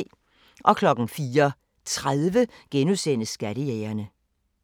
04:30: Skattejægerne *